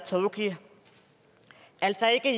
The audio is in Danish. tóki altså ikke